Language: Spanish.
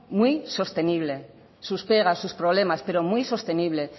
muy sostenible sus pegas sus problemas pero muy sostenible